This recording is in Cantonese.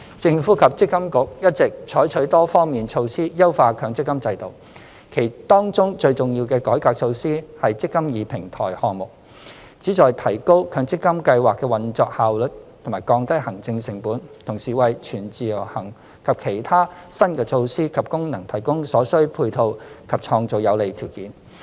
政府及積金局一直採取多方面措施優化強積金制度，當中最重要的改革措施是"積金易"平台項目，旨在提高強積金計劃的運作效率及降低行政成本，同時為"全自由行"及其他新的措施及功能提供所需配套及創造有利條件。